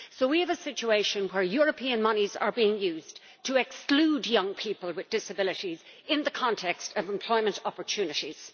So we have a situation in which European moneys are being used to exclude young people with disabilities in the context of employment opportunities.